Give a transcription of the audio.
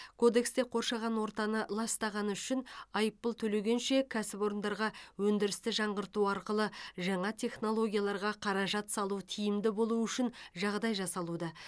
кодексте қоршаған ортаны ластағаны үшін айыппұл төлегенше кәсіпорындарға өндірісті жаңғырту арқылы жаңа технологияларға қаражат салу тиімді болу үшін жағдай жасалуда